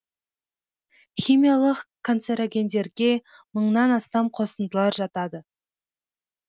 химиялық канцерогендерге мыңнан астам қосындылар жатады